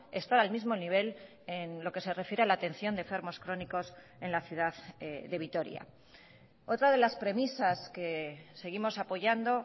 estar al mismo nivel en lo que se refiere a la atención de enfermos crónicos en la ciudad de vitoria otra de las premisas que seguimos apoyando